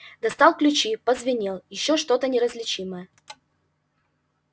достал ключи позвенел ещё что-то неразличимое